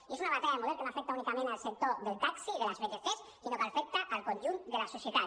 i és una batalla de model que no afecta únicament el sector del taxi i de les vtc sinó que afecta el conjunt de la societat